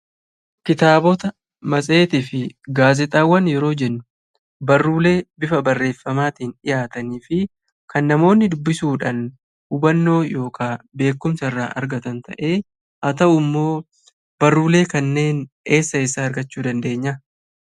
Kitaaba matseetii fi gaazexaawwan jechuun barruulee bifa barreefamaatin dhihaatanii fi kan namoonni dubbisuudha hubannoo yookiin beekkumsa irraa argatanidha.